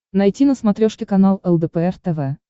найти на смотрешке канал лдпр тв